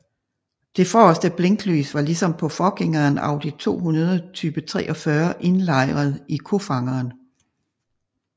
De forreste blinklys var ligesom på forgængeren Audi 200 type 43 indlejret i kofangeren